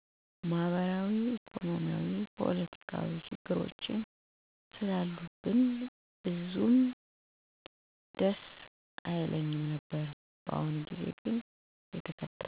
ማህበራዊ፣ ኢኮኖሚያዊ እና ፖለቲካዊ ችግሮች ስላሉብን ብዙም ደስ አይልም።